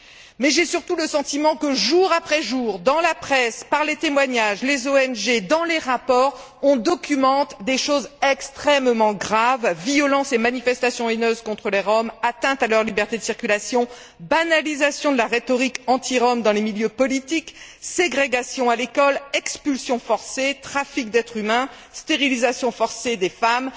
Mais j'ai surtout le sentiment que jour après jour, dans la presse, par les témoignages, dans les faits relatés par les ONG, dans les rapports, il est fait état de choses extrêmement graves violences et manifestations haineuses contre les Roms, atteintes à leur liberté de circulation, banalisation de la rhétorique anti rom dans les milieux politiques, ségrégation à l'école, expulsions forcées, trafic d'êtres humains, stérilisations forcées des femmes.